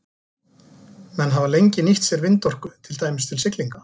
Menn hafa lengi nýtt sér vindorku, til dæmis til siglinga.